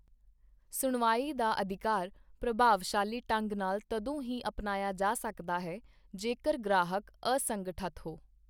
ਸੁਣਵਾਈ ਦਾ ਅਧਿਕਾਰ ਪ੍ਰਭਾਵਸ਼ਾਲੀ ਢੰਗ ਨਾਲ ਤਦੋਂ ਹੀ ਅਪਣਾਇਆ ਜਾ ਸਕਦਾ ਹੈ ਜੇਕਰ ਗ੍ਰਾਹਕ ਅਸੰਗਠਤ ਹੋ।